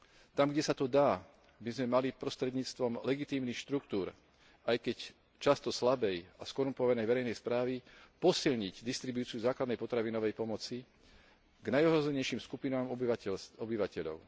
Tam, kde sa to dá, by sme mali prostredníctvom legitímnych štruktúr, aj keď často slabej a skorumpovanej verejnej správy, posilniť distribúciu základnej potravinovej pomoci k najohrozenejším skupinám obyvateľov.